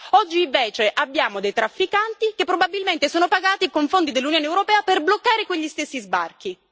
oggi invece abbiamo dei trafficanti che probabilmente sono pagati con fondi dell'Unione europea per bloccare quegli stessi sbarchi.